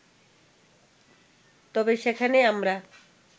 তবে সেখানে আমরা